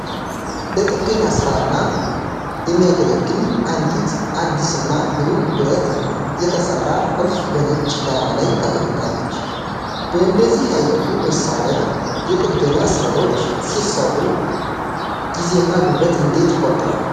ለጥገና ሥራ የሚያገለግል አንዲት አዲስና ብሩህ ብረት የተሠራ ቁልፍ በነጭ ዳራ ላይ ተቀምጣለች። በእንደዚህ አይነቱ መሣሪያ የጥገና ሥራዎች ሲሰሩ ጊዜና ጉልበት እንዴት ይቆጥባል?